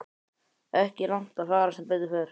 Ekki langt að fara sem betur fer.